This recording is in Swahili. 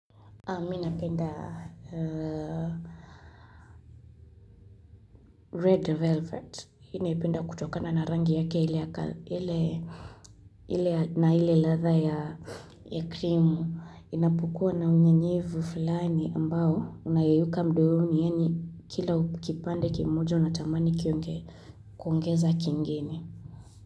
Mi napenda red velvet ninaipenda kutokana na rangi yake na ile ladha ya krimu inapokuwa na unyevunyevu fulani ambao unayeyuka mdomoni yaani kila kipande kimojo unatamani kuongeza kingine.